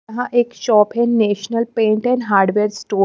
यहां एक शॉप है national paint and hardware store --